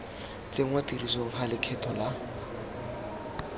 tsenngwa tirisong ga lekgetho la